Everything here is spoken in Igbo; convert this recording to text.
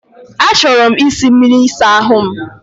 Achọrọ m isi mmiri ịsa ahụ m.